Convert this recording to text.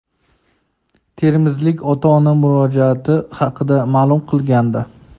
termizlik ota-ona murojaati haqida ma’lum qilgandi.